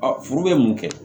furu bɛ mun kɛ